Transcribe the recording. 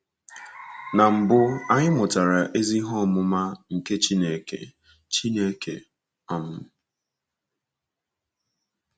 Na mbụ, anyị mụtara ezi ihe ọmụma nke Okwu Chineke. Chineke. um